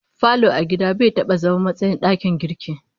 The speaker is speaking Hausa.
Falo a gida bai taba zama matsayin dakin girki